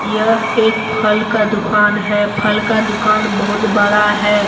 यह एक फल का दुकान है फल का दुकान बहुत बड़ा है।